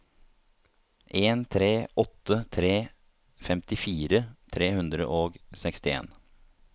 en tre åtte tre femtifire tre hundre og sekstien